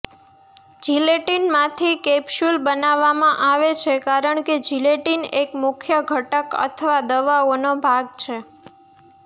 જિલેટીનમાંથી capsule બનાવવામાં આવે છે કારણ કે જિલેટીન એક મુખ્ય ઘટક અથવા દવાઓનો ભાગ છે